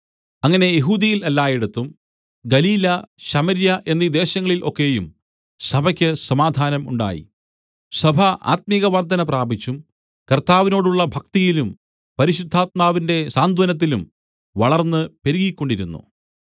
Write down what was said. അങ്ങനെ യെഹൂദ്യയിൽ എല്ലായിടത്തും ഗലീല ശമര്യ എന്നീ ദേശങ്ങളിൽ ഒക്കെയും സഭയ്ക്ക് സമാധാനം ഉണ്ടായി സഭ ആത്മികവർദ്ധന പ്രാപിച്ചും കർത്താവിനോടുള്ള ഭക്തിയിലും പരിശുദ്ധാത്മാവിന്റെ സാന്ത്വനത്തിലും വളർന്ന് പെരുകിക്കൊണ്ടിരുന്നു